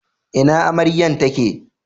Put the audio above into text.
Ina amaryan ta ke